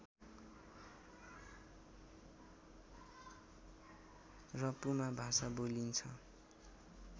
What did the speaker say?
र पुमा भाषा बोलिन्छ